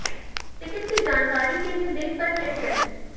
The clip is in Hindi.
टिकट की जानकारी के लिए लिंक पर क्लिक करें